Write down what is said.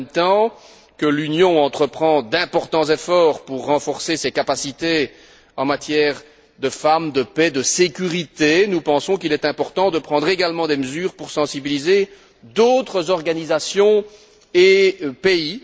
En même temps que l'Union entreprend d'importants efforts pour renforcer ses capacités en matière de participation des femmes, de paix et de sécurité, nous pensons qu'il est important de prendre également des mesures pour sensibiliser d'autres organisations et pays.